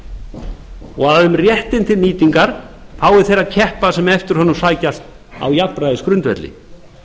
ráðstöfunar og um réttinn til nýtingar fái þeir að keppa sem eftir honum sækjast á jafnræðisgrundvelli